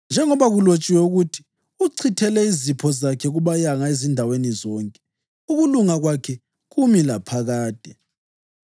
Njengoba kulotshiwe ukuthi: “Uchithele izipho zakhe kubayanga ezindaweni zonke; ukulunga kwakhe kumi laphakade.” + 9.9 AmaHubo 112.9